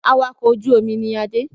Awakọ̀ ojú omi ni Adé